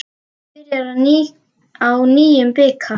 Byrjar á nýjum bikar.